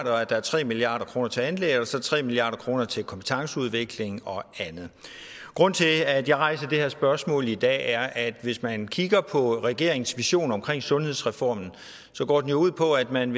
og at der er tre milliard kroner til anlæg og så tre milliard kroner til kompetenceudvikling og andet grunden til at jeg rejser det her spørgsmål i dag er at hvis man kigger på regeringens vision omkring sundhedsreformen går den jo ud på at man